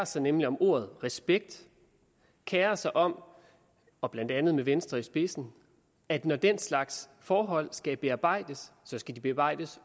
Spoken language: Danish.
sig nemlig om ordet respekt kerer sig om og blandt andet med venstre i spidsen at når den slags forhold skal bearbejdes så skal de bearbejdes